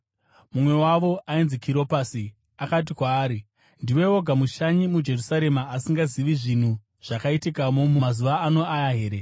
Mumwe wavo ainzi Kiropasi, akati kwaari, “Ndiwe woga mushanyi muJerusarema asingazivi zvinhu zvakaitikamo mumazuva ano aya here?”